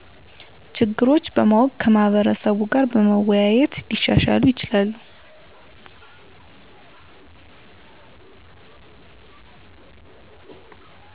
ችግሮች በማወቅ ከማህበረሰቡ ጋር በመወያየት ሊሻሻሉ ይችላሉ።